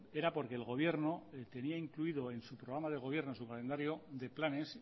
era porque el gobierno tenía incluido en su programa de gobierno en su calendario de planes